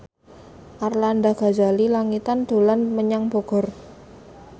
Arlanda Ghazali Langitan dolan menyang Bogor